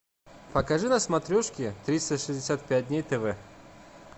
покажи на смотрешке триста шестьдесят пять дней тв